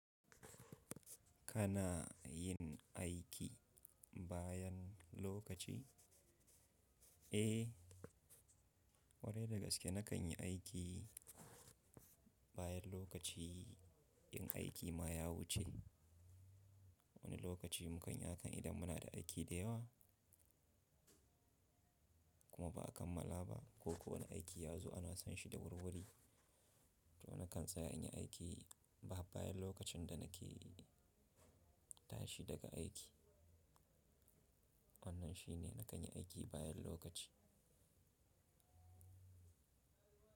Kana yin aiki bayan lokaci? Eh, kwarai da gaske, na kan yi aiki bayan lokaci in aiki ma ya wuce. Wani lokaci mu kan yi hakan idan muna da aiki da yawa kuma ba a kammala ba ko ko wani aiki ya zo ana son shi da wurwuri. To na kan tsaya in yi aiki ba bayan lokacin da na ke tashi daga aiki. Wannan shi ne na kan yi aiki bayan lokaci.